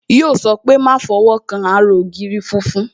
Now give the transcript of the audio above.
Yo sọ pé "Má fọwọ́ kan ara ògiri funfun"